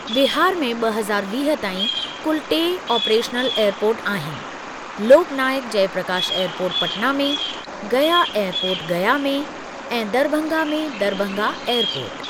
बिहार में ॿ हज़ार वीह ताईं कुल टे ऑपरेशनल एअरपोर्ट आहिनि, लोक नायक जयप्रकाश एअरपोर्ट पटना में, गया एअरपोर्ट गया में, ऐं दरभंगा में दरभंगा एअरपोर्ट।